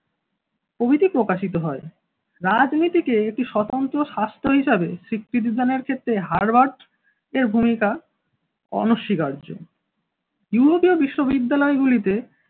প্রভৃতি প্রকাশিত হয়। রাজনীতিকে একটি স্বতন্ত্র স্বাস্থ হিসেবে স্বীকৃতি দানের ক্ষেত্রে হারবার্জ এর ভূমিকা অনস্বীকার্য বিশ্ববিদ্যালয়গুলিতে